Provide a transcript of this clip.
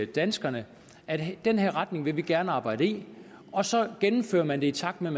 danskerne at den her retning vil man gerne arbejde i og så gennemfører man det i takt med